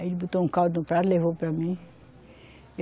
Aí ele botou um caldo no prato, levou para mim.